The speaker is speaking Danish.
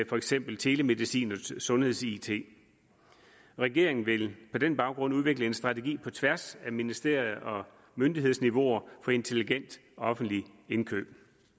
for eksempel telemedicin og sundheds it regeringen vil på den baggrund udvikle en strategi på tværs af ministerier og myndighedsniveauer for intelligent offentlig indkøb